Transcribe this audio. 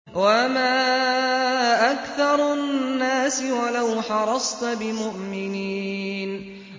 وَمَا أَكْثَرُ النَّاسِ وَلَوْ حَرَصْتَ بِمُؤْمِنِينَ